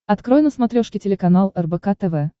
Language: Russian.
открой на смотрешке телеканал рбк тв